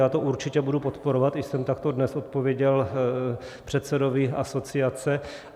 Já to určitě budu podporovat, i jsem takto dnes odpověděl předsedovi asociace.